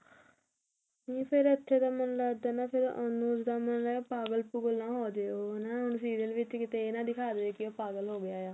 ਨਹੀ ਫ਼ੇਰ ਇੱਥੇ ਤਾਂ ਮੈਨੂੰ ਲੱਗਦਾ ਹਨਾ ਫ਼ੇਰ ਅਨੁਜ ਦਾ ਮੈਨੂੰ ਲੱਗਦਾ ਪਾਗਲ ਪੁਗਲ ਨਾ ਹੋਜੇ ਉਹ ਹਨਾ ਹੁਣ serial ਵਿੱਚ ਤੇ ਇਹ ਨਾ ਦਿਖਾ ਦੇਵੇ ਕਿ ਉਹ ਪਾਗਲ ਹੋਗਿਆ